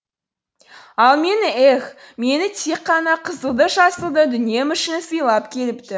ал мені еһ мені тек қана қызылды жасылды дүнием үшін сыйлап келіпті